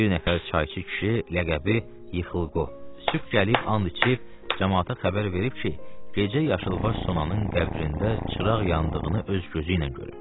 Bir nəfər çayçı kişi, ləqəbi Yıxılqo, sübh gəlib and içib, camaata xəbər verib ki, gecə yaşılbaş sonanın qəbrində çıraq yandığını öz gözü ilə görüb.